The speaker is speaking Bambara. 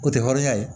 O tɛ hɔrɔnya ye